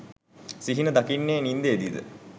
සිහින දකින්නේ නින්දේදීද?